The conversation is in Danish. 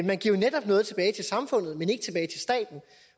man giver jo netop noget tilbage til samfundet men ikke tilbage til staten